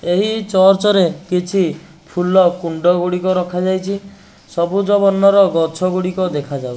ଏହି ଚର୍ଚ୍ଚ ରେ କିଛି ଫୁଲ କୁଣ୍ଡ ଗୁଡ଼ିକ ରଖା ଯାଇଚି। ସବୁଜ ବର୍ଣ୍ଣର ଗଛ ଗୁଡ଼ିକ ଦେଖା ଯାଉ --